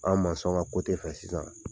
An' ŋa fɛ sisan